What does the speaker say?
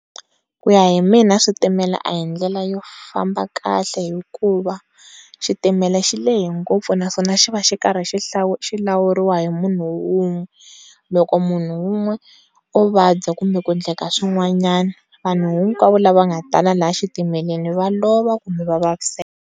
Ku ya hi mina switimela a hi ndlela yo famba kahle hikuva xitimele xilehe ngopfu naswona xi va xi karhi xi lawuriwa hi munhu wun'we loko munhu wun'we wo vabya kumbe ku endleka swin'wanyani vanhu hikwavo la va nga tala laya xitimele va lova kumbe va vaviseka.